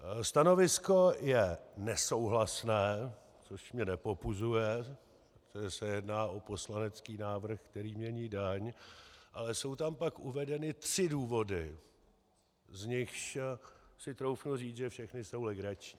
Stanovisko je nesouhlasné, což mě nepopuzuje, protože se jedná o poslanecký návrh, který mění daň, ale jsou tam pak uvedeny tři důvody, z nichž si troufnu říct, že všechny jsou legrační.